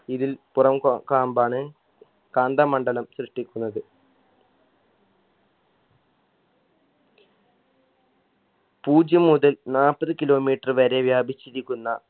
ഇതിൽ പുറം കോ കാമ്പാണ് കാന്തമണ്ഡലം സൃഷ്ടിക്കുന്നത് പൂജ്യം മുതൽ നാപ്പത് kilometer വരെ വ്യാപിച്ചിരിക്കുന്ന